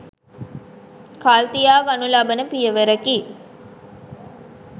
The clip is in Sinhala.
කල්තියා ගනු ලබන පියවරකි.